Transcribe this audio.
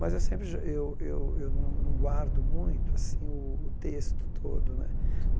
Mas eu sempre ge eu eu eu não não guardo muito assim o texto todo né.